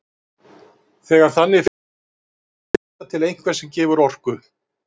Þegar þannig fer um okkur þurfum við að grípa til einhvers sem gefur orku.